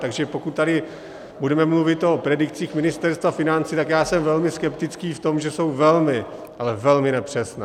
Takže pokud tady budeme mluvit o predikcích Ministerstva financí, tak já jsem velmi skeptický v tom, že jsou velmi, ale velmi nepřesné.